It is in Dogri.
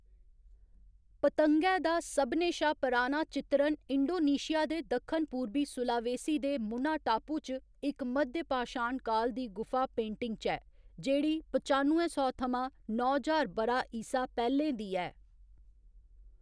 पतंगै दा सभनें शा पराना चित्तरन इंडोनेशिया दे दक्खन पूरबी सुलावेसी दे मुना टापू च इक मध्यपाशाण काल दी गुफा पेंटिंग च ऐ, जेह्‌‌ड़ी पचानुए सौ थमां नौ ज्हार ब'रा ईसा पैह्‌लें दी ऐ।